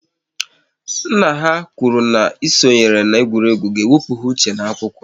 Nna ha kwụrụ n'ịsonye na-egwuregwu ga-ewepụ ha uche n'akwụkwọ